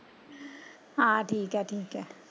ਹਾਂ ਠੀਕ ਠੀਕ ਐ।